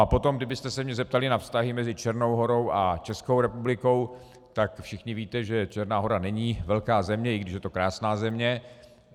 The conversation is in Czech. A potom, kdybyste se mě zeptali na vztahy mezi Černou Horou a Českou republikou, tak všichni víte, že Černá Hora není velká země, i když je to krásná země.